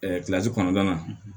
kɔnɔna na